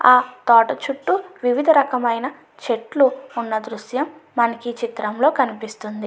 ఆ తోట చుట్టూ వివిధ రకమైన చెట్లు ఉన్న దృశ్యం మనకి ఈ చిత్రంలో కనిపిస్తుంది.